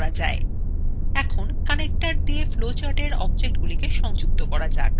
এখন connectors দিয়ে flowchart এর objects গুলিকে সংযুক্ত করা যাক